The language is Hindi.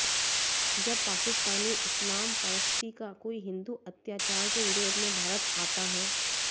जब पाकिस्तानी इस्लाम परस्ती का कोई हिन्दू अत्याचार के विरोध में भारत आता है